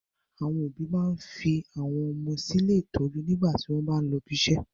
Àwọn òbí máa n fi àwọn ọmọ sí ilé ìtọ́jú nígbà tí wọn bá lọ ibiṣẹ́.